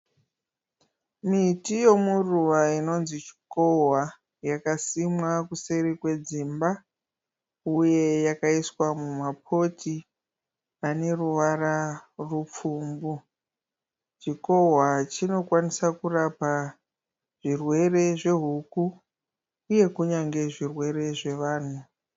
Miti yemuruva inonzi chikohwa. Yakasimwa kuseri kwedzimba uye yakaiswa muma poto emaruva aneruvara rwepfumbu. Chikohwa chinokwanisa kurapa zvirwere zvehuku uye kunyange zvirwere zvevanhu.